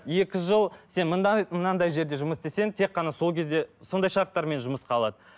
екі жыл сен мынандай жерде жұмыс істесең тек қана сол кезде сондай шарттармен жұмысқа алады